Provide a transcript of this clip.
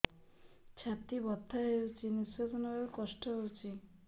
ଛାତି ବଥା ହଉଚି ନିଶ୍ୱାସ ନେବାରେ କଷ୍ଟ ହଉଚି